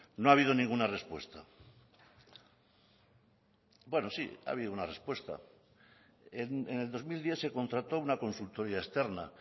no ha habido ninguna respuesta bueno sí ha habido una respuesta en el dos mil diez se contrató una consultoría externa